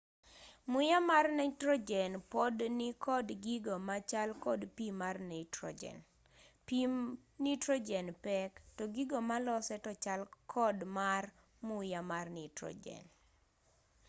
muya mar nitrojen pod nikod gigo machal kod pii mar nitrojen pii nitrojen pek to gigo malose to chal kod mar muya mar nitrojen